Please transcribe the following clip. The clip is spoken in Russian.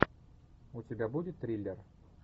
у тебя будет триллер